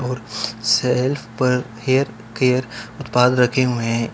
Self पर hair care रखे हुए हैं।